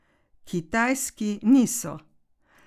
Kitajski niso.